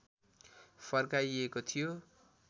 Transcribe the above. फर्काइएको थियो